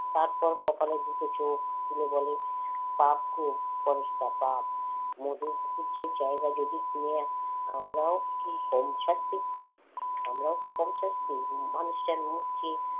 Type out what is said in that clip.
তারপর কপালে জুটেছে চোখ তুলে বলে, প্রাপ্ত পরেশটা পাপ মধু মুখার্জির জায়গা কিনে আমরাও কি কম ছাড়ছি আমরাও কি কম ছাড়ছি মানুষটার মুখ চেয়ে